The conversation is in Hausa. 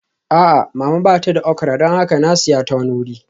A'a, Mama ba ta da okra don haka na siya ta wani wuri